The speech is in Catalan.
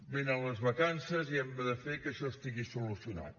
venen les vacances i hem de fer que això estigui solucionat